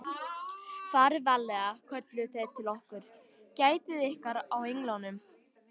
Farið varlega, kölluðu þeir til okkar, Gætið ykkar á englunum.